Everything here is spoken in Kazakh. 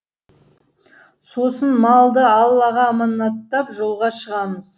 сосын малды аллаға аманаттап жолға шығамыз